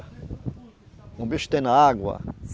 Um bicho que tem na água.